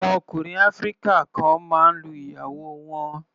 Àwọn ọkùnrin áfíríkà kan máa ń lu ìyàwó wọn.